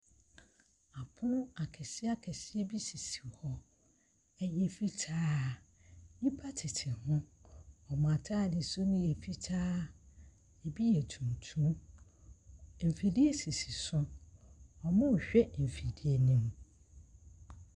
Apono akɛse akɛse bi sisi hɔ. Ɛyɛ fitaa. Nnipa tete ho. Wɔn ataade soro no yɛ fitaa. Ebi yɛ tuntum. Mfidie sisi so. Wɔrehwɛ mfidie no.